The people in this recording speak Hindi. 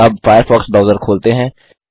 अब फ़ायरफ़ॉक्स ब्राउजर खोलते हैं